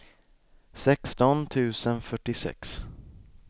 sexton tusen fyrtiosex